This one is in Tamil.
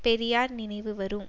பெரியார் நினைவு வரும்